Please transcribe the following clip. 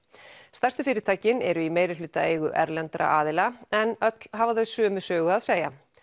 stærstu fyrirtækin eru í meirihlutaeigu erlendra aðila en öll hafa þau sömu sögu að segja